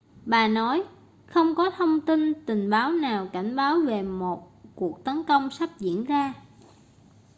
bà nói không có thông tin tình báo nào cảnh báo về một cuộc tấn công sắp diễn ra